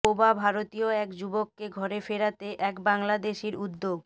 বোবা ভারতীয় এক যুবককে ঘরে ফেরাতে এক বাংলাদেশির উদ্যোগ